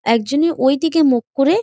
একজনই ওই দিকে মুখ করে--